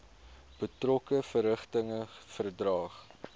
betrokke verrigtinge verdaag